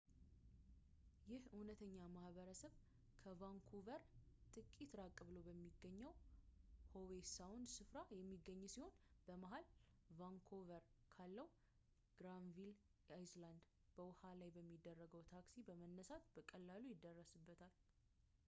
ይህ እውነተኛ ማህበረሰብ ከቫንኩቨር ጥቂት ራቅ ብሎ በሚገኘው howe sound ስፍራ የሚገኝ ሲሆን በመሐል vancouver ካለው granville island በውሃ ላይ በሚደረግ ታክሲ በመነሳት በቀላሉ ይደረስበታል